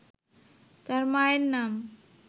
তার মায়ের নাম